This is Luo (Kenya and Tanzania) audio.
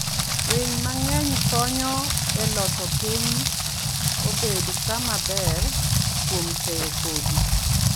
Winy mang'eny konyo e loso piny obed kama ber, kuom keyo kodhi.